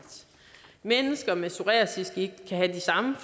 mennesker med psoriasisgigt kan have de samme